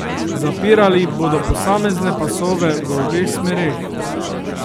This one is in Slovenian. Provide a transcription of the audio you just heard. Zapirali bodo posamezne pasove v obeh smereh.